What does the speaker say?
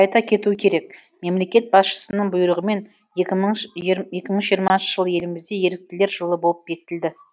айта кетеу керек мемлекет басшысының бұйрғымен екі мың жиырмасыншы жыл елімізде еріктілер жылы болып бекітілді